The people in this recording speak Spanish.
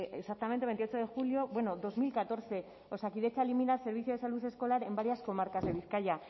exactamente veintiocho de julio bueno dos mil catorce osakidetza elimina el servicio de salud escolar en varias comarcas de bizkaia